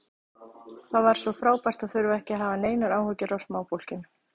Það var svo frábært að þurfa ekki að hafa neinar áhyggjur af smáfólkinu.